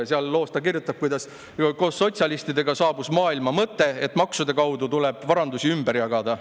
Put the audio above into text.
Selles loos ta kirjutab: "Koos sotsialistidega saabus maailma mõte, et maksude kaudu tuleb varandusi ümber jaotada.